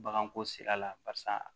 Baganko sira la barisa